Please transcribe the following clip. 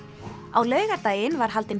á laugardaginn var haldin